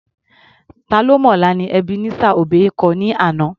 Ta ló mọ̀la ni Ebenezer Obey kọ ní àná.